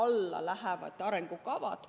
Selle alla lähevad arengukavad.